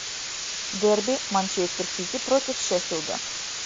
дерби манчестер сити против шеффилда